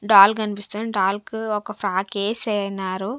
Doll కనిపిస్తుంది doll కు ఒక ఫ్రాక్ ఏసెనారు.